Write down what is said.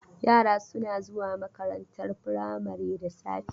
Yara suna zuwa makarantar firamari da safe.